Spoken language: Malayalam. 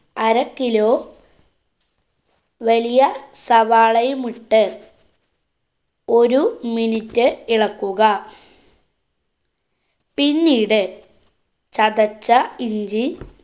അര kilo വലിയ സവാളയും ഇട്ട് ഒരു minute ഇളക്കുക. പിന്നീട് ചതച്ച ഇഞ്ചി